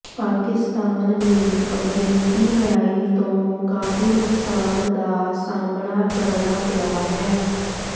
ਪਾਕਿਸਤਾਨ ਨੂੰ ਅਮਰੀਕੀ ਲੜਾਈ ਤੋਂ ਕਾਫ਼ੀ ਨੁਕਸਾਨ ਦਾ ਸਾਹਮਣਾ ਕਰਣਾ ਪਿਆ ਹੈ